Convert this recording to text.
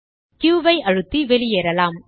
Q ஐ அழுத்தி வெளியேறலாம்